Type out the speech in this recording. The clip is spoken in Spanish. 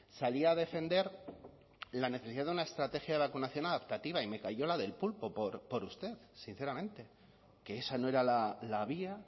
salía a defender la necesidad de una estrategia de vacunación adaptativa y me calló la del pulpo por usted sinceramente que esa no era la vía